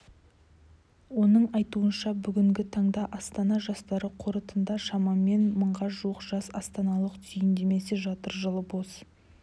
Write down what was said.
оның айтуынша бүгінгі таңда астана жастары қорында шамамен мыңға жуық жас астаналықтың түйіндемесі жатыр жылы бос